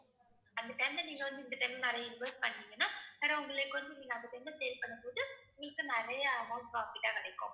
அந்த time ல நீங்க வந்து இந்த time ல நிறைய invest பண்ணீங்கன்னா உங்களுக்கு வந்து நீங்க அந்த time ல sale பண்ணும்போது உங்களுக்கு நிறைய amount profit ஆ கிடைக்கும்